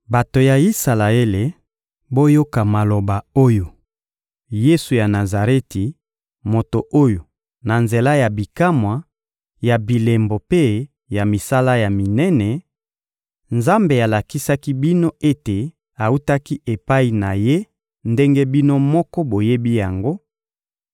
Bato ya Isalaele, boyoka maloba oyo: Yesu ya Nazareti, moto oyo, na nzela ya bikamwa, ya bilembo mpe ya misala ya minene, Nzambe alakisaki bino ete awutaki epai na Ye ndenge bino moko boyebi yango,